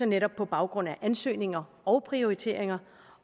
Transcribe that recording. netop på baggrund af ansøgninger og prioriteringer